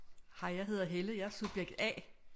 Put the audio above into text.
Hej jeg hedder Helle jeg er subjekt A